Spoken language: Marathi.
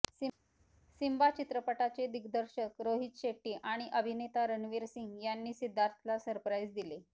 सिम्बा चित्रपटाचे दिग्दर्शक रोहित शेट्टी आणि अभिनेता रणवीर सिंग यांनी सिद्धार्थला सरप्राईज दिले